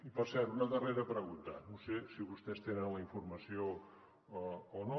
i per cert una darrera pregunta no sé si vostès tenen la informació o no